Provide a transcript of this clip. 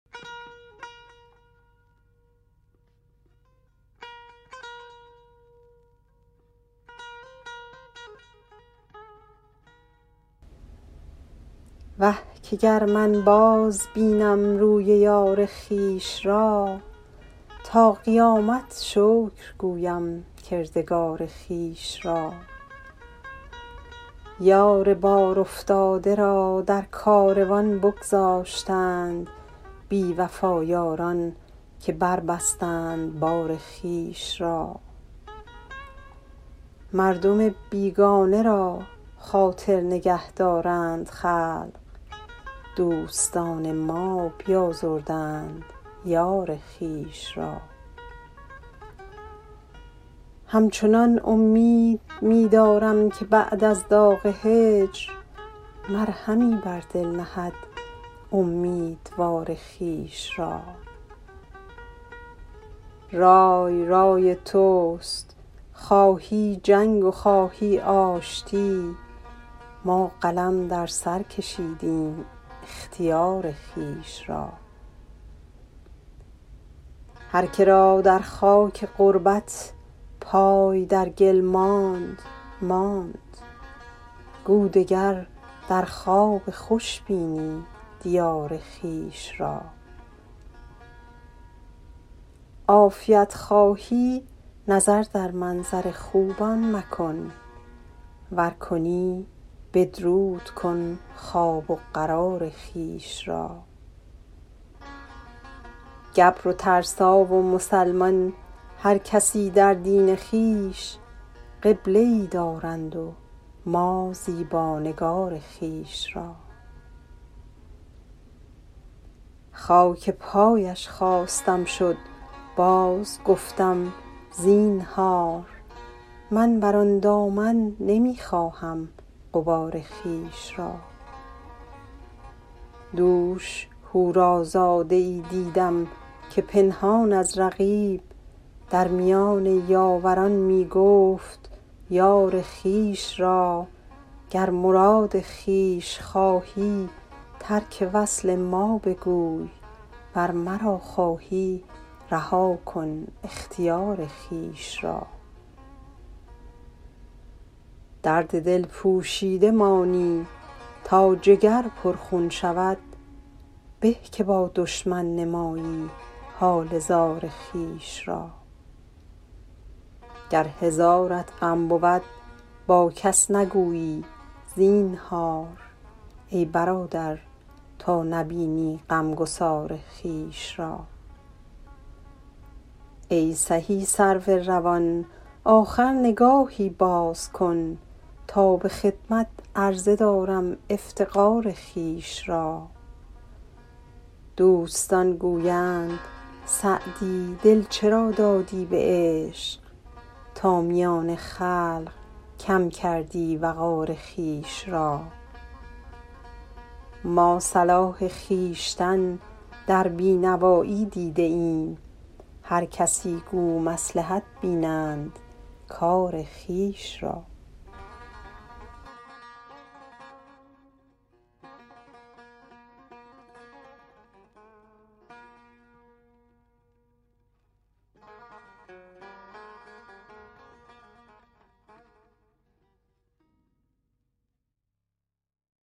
وه که گر من بازبینم روی یار خویش را تا قیامت شکر گویم کردگار خویش را یار بارافتاده را در کاروان بگذاشتند بی وفا یاران که بربستند بار خویش را مردم بیگانه را خاطر نگه دارند خلق دوستان ما بیازردند یار خویش را همچنان امید می دارم که بعد از داغ هجر مرهمی بر دل نهد امیدوار خویش را رای رای توست خواهی جنگ و خواهی آشتی ما قلم در سر کشیدیم اختیار خویش را هر که را در خاک غربت پای در گل ماند ماند گو دگر در خواب خوش بینی دیار خویش را عافیت خواهی نظر در منظر خوبان مکن ور کنی بدرود کن خواب و قرار خویش را گبر و ترسا و مسلمان هر کسی در دین خویش قبله ای دارند و ما زیبا نگار خویش را خاک پایش خواستم شد بازگفتم زینهار من بر آن دامن نمی خواهم غبار خویش را دوش حورازاده ای دیدم که پنهان از رقیب در میان یاوران می گفت یار خویش را گر مراد خویش خواهی ترک وصل ما بگوی ور مرا خواهی رها کن اختیار خویش را درد دل پوشیده مانی تا جگر پرخون شود به که با دشمن نمایی حال زار خویش را گر هزارت غم بود با کس نگویی زینهار ای برادر تا نبینی غمگسار خویش را ای سهی سرو روان آخر نگاهی باز کن تا به خدمت عرضه دارم افتقار خویش را دوستان گویند سعدی دل چرا دادی به عشق تا میان خلق کم کردی وقار خویش را ما صلاح خویشتن در بی نوایی دیده ایم هر کسی گو مصلحت بینند کار خویش را